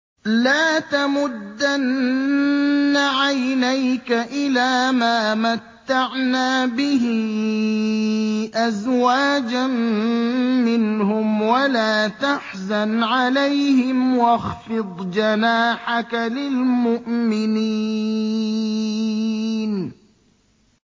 لَا تَمُدَّنَّ عَيْنَيْكَ إِلَىٰ مَا مَتَّعْنَا بِهِ أَزْوَاجًا مِّنْهُمْ وَلَا تَحْزَنْ عَلَيْهِمْ وَاخْفِضْ جَنَاحَكَ لِلْمُؤْمِنِينَ